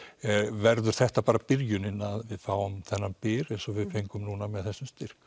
verður þetta bara byrjunin að við fáum þennan byr eins og við fengum nú með þessum styrk